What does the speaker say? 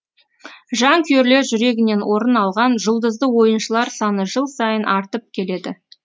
жанкүйерлер жүрегінен орын алған жұлдызды ойыншылар саны жыл сайын артып келеді